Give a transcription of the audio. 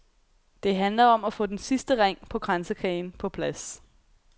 Det handler om at få den sidste ring på kransekagen på plads.